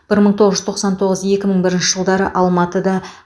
бір мың тоқсан тоғыз екі мың бірінші жылдары алматыда